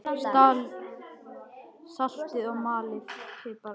Saltið og malið pipar yfir.